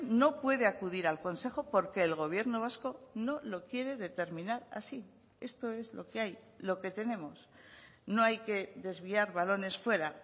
no puede acudir al consejo porque el gobierno vasco no lo quiere determinar así esto es lo que hay lo que tenemos no hay que desviar balones fuera